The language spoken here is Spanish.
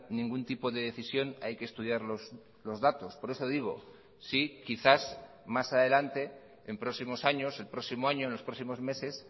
ningún tipo de decisión hay que estudiar los datos por eso digo si quizás más adelante en próximos años el próximo año en los próximos meses